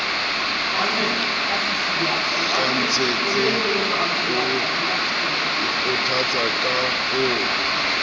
kgathatse o ikgothatsa ka ho